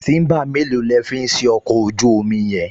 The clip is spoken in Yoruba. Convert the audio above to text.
Tíḿbà mélòó lẹ̀ ń fi ṣe ọkọ̀ ojú-omi yẹn?